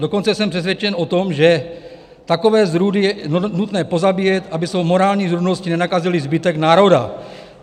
Dokonce jsem přesvědčen o tom, že takové zrůdy je nutné pozabíjet, aby svou morální zrůdností nenakazili zbytek národa.